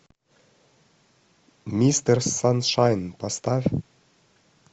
мистер саншайн поставь